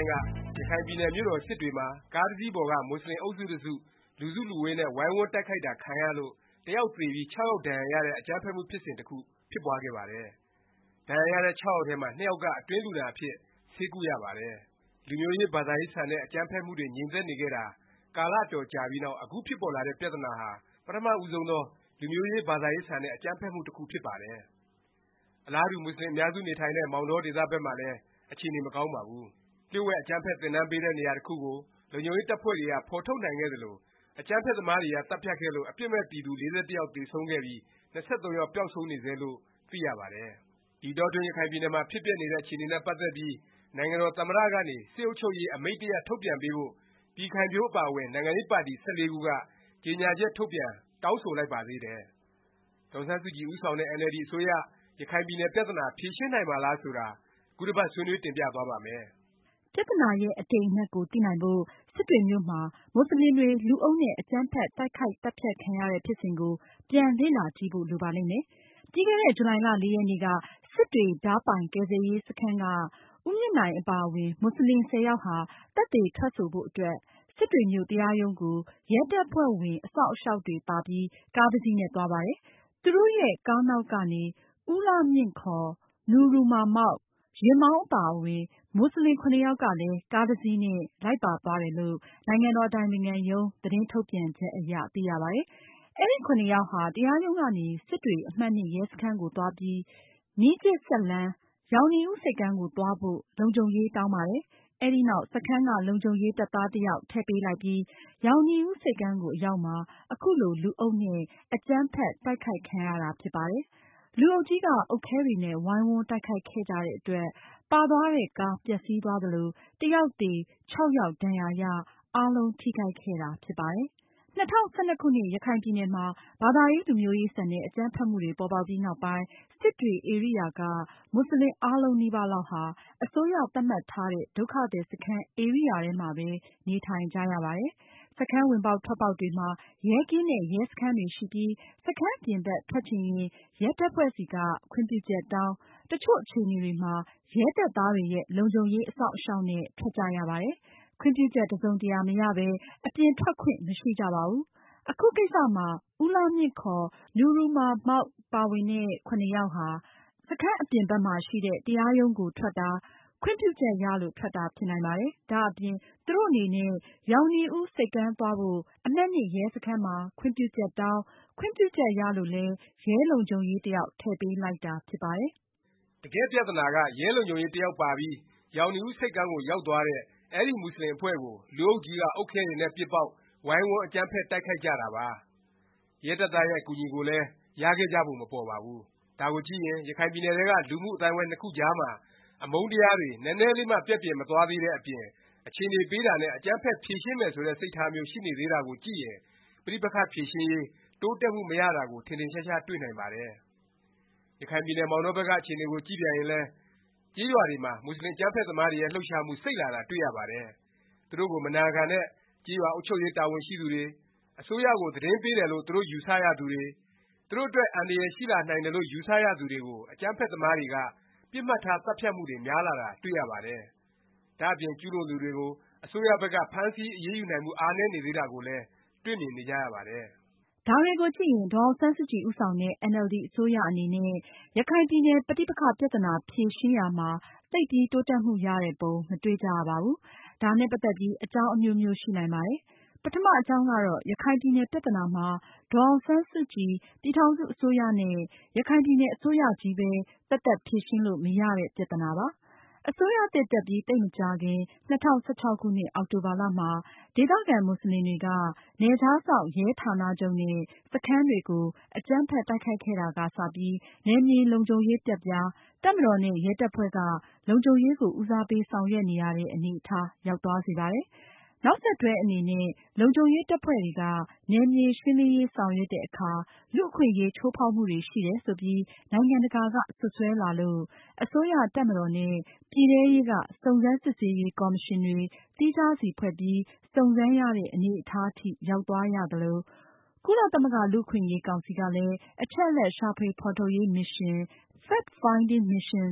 င်းက ရခိုင်ပြည်နယ် မြို့တော် စစ်တွေမှာ ကားတစ်စီးပေါ်က မူဆလင် အုပ်စု တစ်စု လူစုလူဝေးနဲ့ ဝိုင်းဝန်း တိုက်ခိုက်တာ ခံရလို့ တစ်ယောက် သေဆုံးပြီး ခြောက်ယောက် ဒါဏ်ရာရတဲ့ အကြမ်းဖက်မှု ဖြစ်စဉ် တစ်ခု ဖြစ်ပွားခဲ့ပါတယ်။ ဒါဏ်ရာရတဲ့ ခြောက်ယောက်ထဲမှာ နှစ်ယောက်က အတွင်းလူနာအဖြစ် ဆေးကုရပါတယ်။ လူမျိုးရေး ဘာသာရေးဆန်တဲ့ အကြမ်းဖက်မှုတွေ ငြိမ်သက်နေခဲ့တာ ကာလ အတော်ကြာပြီးနောက် အခု ဖြစ်ပေါ်လာတဲ့ ပြသနာဟာ ပထမ ဦးဆုံးသော လူမျိုးရေး ဘာသာရေးဆန်တဲ့ အကြမ်းဖက်မှု တစ်ခု ဖြစ်ပါတယ်။ အလားတူ မူဆလင် အများစု နေထိုင်တဲ့ မောင်တောဒေသဘက်မှာလည်း အခြေအနေ မကောင်းပါဘူး။ လျှို့ဝှက် အကြမ်းဖက် သင်တန်းပေးတဲ့ နေရာတစ်ခုကို လုံခြုံရေး တပ်ဖွဲ့တွေက ဖော်ထုတ်နိုင်ခဲ့သလို၊ အကြမ်းဖက်သမားတွေက သတ်ဖြတ်ခဲ့လို့ အပြစ်မဲ့ပြည်သူ ၄၁ ယောက် သေဆုံးခဲ့ပြီး ၂၃ ယောက် ပျောက်ဆုံးနေဆဲလို့ သိရပါတယ်။ ဒီအတောအတွင်း ရခိုင်ပြည်နယ်မှာ ဖြစ်ပျက်နေတဲ့ အခြေအနေနဲ့ပတ်သက်ပြီး နိုင်ငံတော် သမ္မတ ကနေ စစ်အုပ်ချုပ်ရေး အမိန့်တစ်ရပ် ထုတ်ပြန်ပေးဖို့ ပြည်ခိုင်ဖြိုး အပါအဝင် နိုင်ငံရေးပါတီ ၁၄ ခုက ကြေငြာချက် ထုတ်ပြန် တောင်းဆိုလိုက်ပါသေးတယ်။ ဒေါ်အောင်ဆန်းစုကြည် ဦးဆောင်တဲ့ အင်န်အယ်လ်ဒီ အစိုးရ ရခိုင်ပြည်နယ် ပြသနာ ဖြေရှင်းနိုင်မှာလား ဆိုတာ ခုတစ်ပတ် ဆွေးနွေး တင်ပြသွားပါ့မယ်။ ပြသနာရဲ့ အတိမ် အနက်ကို သိနိုင်ဖို့ စစ်တွေမြို့မှာ မူဆလင်တွေ လူအုပ်နဲ့ အကြမ်းဖက် တိုက်ခိုက်သတ်ဖြတ် ခံရတဲ့ ဖြစ်စဉ်ကို ပြန် လေ့လာကြည့်ဖို့ လိုပါလိမ့်မယ်။ ပြီးခဲ့တဲ့ ဇူလိုင်လ ၄ ရက်နေ့က စစ်တွေ ဒါးပိုင် ကယ်ဆယ်ရေးစခန်းက ဦးမြင့်နိုင်အပါအဝင် မူဆလင် ၁၀ ယောက်ဟာ သက်သေ ထွက်ဆိုဖို့အတွက် စစ်တွေမြို့ တရားရုံးကို ရဲတပ်ဖွဲ့ဝင် အစောင့်အရှောက်တွေပါပြီး ကားတစ်စီးနဲ့ သွားပါတယ်။ သူတို့ရဲ့ ကားနောက်ကနေ ဦးလှမြင့်ခေါ် နူရူမာမောက်၊ ယာဉ်မောင်း အပါအဝင် မူဆလင် ယောက်ကလည်း ကားတစ်စီးနဲ့ လိုက်ပါသွားတယ်လို့ နိုင်ငံတော် အတိုင်ပင်ခံရုံး သတင်းထုတ်ပြန်ချက် အရ သိရပါတယ်။ အဲဒီ ယောက်ဟာ တရားရုံးကနေ စစ်တွေ အမှတ် ရဲစခန်းကို သွားပြီး မီးခြစ်စက်လမ်း၊ ရောင်နီဦး ဆိပ်ကမ်းကို သွားဖို့ လုံခြုံရေး တောင်းပါတယ်။ အဲဒီနောက် စခန်းက လုံခြုံရေး တပ်သားတစ်ယောက် ထည့်ပေးလိုက်ပြီး ရောင်နီဦး ဆိပ်ကမ်းကို အရောက်မှာ အခုလို လူအုပ်နဲ့ အကြမ်းဖက် တိုက်ခိုက်ခံရတာ ဖြစ်ပါတယ်။ လူအုပ်ကြီးက အုတ်ခဲတွေနဲ့ ဝိုင်းဝန်း တိုက်ခိုက်ခဲ့ကြတဲ့အတွက် ပါသွားတဲ့ ကား ပျက်စီးသွားသလို တစ်ယောက်သေ၊ ၆ ယောက် ဒါဏ်ရာရ အားလုံး ထိခိုက်ခဲ့တာ ဖြစ်ပါတယ်။ ၂၀၁၂ ခုနှစ် ရခိုင်ပြည်နယ်မှာ ဘာသာရေး လူမျိုးရေး ဆန်တဲ့ အကြမ်းဖက်မှုတွေ ပေါ်ပေါက်ပြီးနောက်ပိုင်း စစ်တွေဧရိယာက မူဆလင် အားလုံးနီးပါးလောက်ဟာ အစိုးရက သတ်မှတ်ထားတဲ့ ဒုက္ခသည် စခန်း ဧရိယာတွေမှာပဲ နေထိုင်ကြရပါတယ်။ စခန်း ဝင်ပေါက်ထွက်ပေါက်တွေမှာ ရဲကင်းနဲ့ ရဲစခန်းတွေရှိပြီး စခန်းအပြင်ဘက် ထွက်ချင်ရင် ရဲတပ်ဖွဲ့ဆီက ခွင့်ပြုချက်တောင်း၊ တစ်ချို့ အခြေအနေတွေမှာ ရဲတပ်သားတွေရဲ့ လုံခြုံရေး အစောင့်အရှောက်နဲ့ ထွက်ကြရပါတယ်။ ခွင့်ပြုချက် တစ်စုံတစ်ရာ မရပဲ အပြင်ထွက်ခွင့် မရှိကြပါဘူး။ အခုကိစ္စမှာ ဦးလှမြင့်ခေါ် နူရူမာမောက် ပါ ၇ ယောက် စခန်းပြင် တရားရုံးကို ထွက်တာ ခွင့်ပြုချက် ရလို့ ထွက်တာ ဖြစ်နိုင်ပါတယ်။ ဒါ့အပြင် သူတို့အနေနဲ့ ရောင်နီဦး ဆိပ်ကမ်းသွားဖို့ အမှတ် ရဲစခန်းမှာ ခွင့်ပြုချက်တောင်း၊ ခွင့်ပြုချက်ရလို့လဲ ရဲလုံခြုံရေး တစ်ယောက် ထည့်ပေးလိုက်တာ ဖြစ်ပါတယ်။ တကယ့်ပြသနာက ရဲလုံခြုံရေး တစ်ယောက်ပါပြီး ရောင်နီဦး ဆိပ်ကမ်းကို ရောက်သွားတဲ့ အဲဒီ မူဆလင်အဖွဲ့ကို လူအုပ်ကြီးက အုတ်ခဲတွေနဲ့ ပစ်ပေါက် ဝိုင်းဝန်း အကြမ်းဖက် တိုက်ခိုက်ကြတာပါ။ ရဲတပ်သားရဲ့ အကူအညီကိုလည်း ရခဲ့ကြပုံ မပေါ်ပါဘူး။ ဒါကိုကြည့်ရင် ရခိုင်ပြည်နယ်ထဲက လူမှုအသိုင်းအဝိုင်း နှစ်ခုကြားမှာ အမုန်းတရားတွေ နည်းနည်းလေးမှ ပျက်ပြယ် မသွားသေးတဲ့အပြင် အခြေအနေပေးတာနဲ့ အကြမ်းဖက် ဖြေရှင်းမယ် ဆိုတဲ့ စိတ်ထားမျိုး ရှိနေသေးတာကိုကြည့်ရင် ပဋိပက္ခ ဖြေရှင်းရေး တိုးတက်မှု မရတာကို ထင်ထင်ရှားရှား တွေ့နိုင်ပါတယ်။ ရခိုင်ပြည်နယ် မောင်တောဘက်က အခြေအနေကို ကြည့်ပြန်ရင်လည်း ကျေးရွာတွေမှာ မူဆလင် အကြမ်းဖက် သမားတွေရဲ့ လှုပ်ရှားမှု စိပ်လာတာ တွေ့ရပါတယ်။ သူတို့ကို မနာခံတဲ့ ကျေးရွာ အုပ်ချုပ်ရေး တာဝန်ရှိသူတွေ၊ အစိုးရကို သတင်းပေးတယ်လို့ သူတို့ ယူဆရသူတွေ၊ သူတို့အတွက် အန္တရာယ်ရှိလာနိုင်တယ်လို့ ယူဆသူတွေကို အကြမ်းဖက်သမားတွေက သတ်ဖြတ်မှုတွေ များလာတာ တွေ့ရပါတယ်။ ဒါ့အပြင် ကျူးလွန်သူတွေကို အစိုးရဘက်က ဖမ်းဆီး အရေးယူနိုင်မှု အားနည်းနေသေးတာကိုလည်း တွေ့မြင်နေကြရပါတယ်။ ဒါတွေကိုကြည့်ရင် ဒေါ်အောင်ဆန်းစုကြည် ဦးဆောင်တဲ့ အင်န်အယ်လ်ဒီ အစိုးရ အနေနဲ့ ရခိုင်ပြည်နယ် ပဋိပက္ခ ပြသနာ ဖြေရှင်းရာမှာ သိပ်ပြီး တိုးတက်မှု ရတဲ့ပုံ မတွေ့ကြရပါဘူး။ ဒါနဲ့ ပတ်သက်ပြီး အကြောင်းအမျိုးမျိုး ရှိနိုင်ပါတယ်။ ပထမ အကြောင်းကတော့ ရခိုင်ပြည်နယ် ပြသနာမှာ ဒေါ်အောင်ဆန်းစုကြည်၊ ပြည်ထောင်စု အစိုးရနဲ့ ရခိုင်ပြည်နယ် အစိုးရချည်းပဲ သက်သက် ဖြေရှင်းလို့ မရတဲ့ ပြသနာပါ။ အစိုးရသစ် တက်ပြီး သိပ်မကြာခင် ၂၀၁၆ အောက်တိုဘာမှာ ဒေသခံ မူဆလင်တွေက နယ်ခြားစောင့် ရဲဌာနချုပ်နဲ့ စခန်းတွေကို အကြမ်းဖက် တိုက်ခိုက်ခဲ့တာက စပြီး နယ်မြေ လုံခြုံရေး ပျက်ပြား၊ တပ်မတော်နဲ့ ရဲတပ်ဖွဲ့က လုံခြုံရေးကို ဦးစားပေး ဆောင်ရွက်နေရတဲ့ အနေအထား ရောက်သွားစေပါတယ်။ နောက်ဆက်တွဲအနေနဲ့ လုံခြုံရေးတပ်ဖွဲ့တွေက နယ်မြေ ရှင်းလင်းရေး ဆောင်ရွက်တဲ့အခါ လူ့အခွင့်အရေး ချိုးဖေါက်မှုတွေ ရှိတယ် ဆိုပြီး နိုင်ငံတကာက စွတ်စွဲလာလို့ အစိုးရ၊ တပ်မတော်နဲ့ ပြည်ထဲရေးက စုံစမ်းစစ်ဆေးရေး ကော်မရှင်တွေ သီးခြားစီ ဖွဲ့ပြီး စုံစမ်းရတဲ့ အနေအထား အထိ ရောက်သွားရသလို၊ ကုလသမဂ္ဂလူ့အခွင့်အရေးကောင်စီ ကလည်း အချက်အလက် ရှာဖွေဖော်ထုတ်ရေးမစ်ရှင်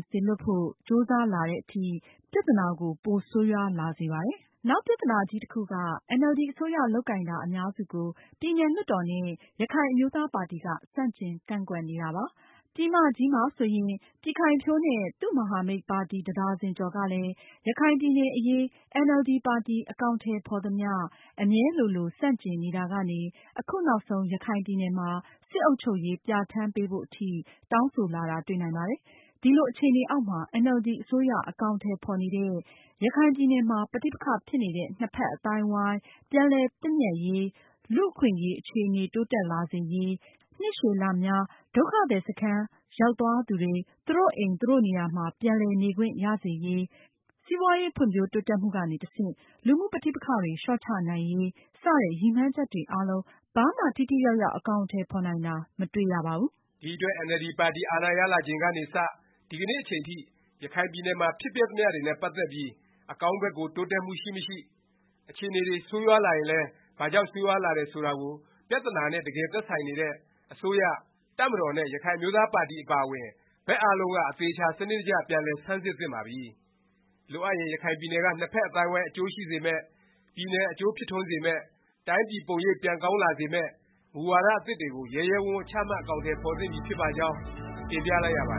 စေလွှတ်ဖို့ ကြိုးစားလာသည် အထိ ပြသနာကို ပိုဆိုးရွားလာစေပါတယ်။ နောက်ပြသနာကြီးတစ်ခုက အင်န်အယ်လ်ဒီ အစိုးရ လုပ်ကိုင်တာ အများစုကို ပြည်နယ်လွှတ်တော်နဲ့ ရခိုင်အမျိုးသားပါတီက ဆန့်ကျင်ကန့်ကွက်နေတာပါ။ ပြည်မကြီးမှာဆိုရင် ပြည်ခိုင်ဖြိုးနဲ့ သူ့မဟာမိတ် ပါတီ တစ်ဒါဇင် ကျော်ကလည်း ရခိုင်ပြည်နယ်အရေး အင်န်အယ်လ်ဒီ ပါတီ အကောင်အထည် ဖော်သမျှ အမြဲလိုလို ဆန့်ကျင်နေတာကနေ အခုနောက်ဆုံး ရခိုင်ပြည်နယ်မှာ စစ်အုပ်ချုပ်ရေး ပြဌာန်းပေးဖို့ အထိ တောင်းဆိုလာတာ တွေ့နိုင်ပါတယ်။ ဒီလို အခြေအနေအောက်မှာ အင်န်အယ်လ်ဒီ အစိုးရ အကောင်အထည် ဖော်နေတဲ့ ရခိုင်ပြည်နယ်မှာ ပဋိပက္ခ ဖြစ်နေတဲ့ နှစ်ဖက် အသိုင်းအဝိုင်း ပြန်လည် သင့်မြတ်ရေး၊ လူ့အခွင့်အရေး အခြေအနေ တိုးတက်လာစေရေး၊ နှစ်ရှည်လများ ဒုက္ခသည်စခန်း ရောက်သွားသူတွေ သူတို့အိမ်၊ သူတို့နေရာမှာ ပြန်လည် နေခွင့်ရစေရေး၊ စီးပွားရေး ဖွံ့ဖြိုးတိုးတက်မှုကနေ တဆင့် လူမှုပဋိပက္ခတွေ လျော့ချနိုင်ရေး စတဲ့ ရည်မှန်းချက်တွေအားလုံး ဘာမှ ထိထိရောက်ရောက် အကောင်အထည် ဖော်နိုင်တာ မတွေ့ရတော့ပါဘူး။ ဒီအတွက် အင်န်အယ်လ်ဒီ ပါတီ အာဏာရလာချိန်ကနေစ ဒီကနေ့ အချိန်ထိ ရခိုင်ပြည်နယ်နယ်မှာ ဖြစ်ပျက်သမျှတွေနဲ့ ပတ်သက်ပြီး အကောင်းဘက်ကို တိုးတက်မှု ရှိမရှိ၊ အခြေအနေတွေ ဆိုးရွားလာရင်လည်း ဘာကြောင့် ဆိုးရွားလာတယ် ဆိုတာကို ပြသနာနဲ့ တကယ် သက်ဆိုင်နေတဲ့ အစိုးရ၊ တပ်မတော်နဲ့ ရခိုင်အမျိုးသားပါတီ အပါအဝင် ဘက်အားလုံးက အသေအခြာ စနစ်တကျ ပြန်လည် ဆန်းစစ်သင့်ပါပြီ။ လိုအပ်ရင် ရခိုင်ပြည်နယ်က နှစ်ဖက် အသိုင်းအဝိုင်း အကျိုးရှိစေမယ့်၊ ပြည်နယ် အကျိုးဖြစ်ထွန်းစေမယ့်၊ တိုင်းပြည် ပုံရိပ် ပြန်ကောင်းလာစေမယ့် မူဝါဒ အသစ်တွေကို ရဲရဲဝန့်ဝန့် ချမှတ် အကောင်အထည် ဖော်သင့်ပြီ ဖြစ်ပါကြောင်း တင်ပြလိုက်ရပါတ